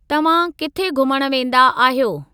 तव्हां किथे घुमण वेंदा आहियो?